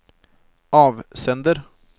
avsender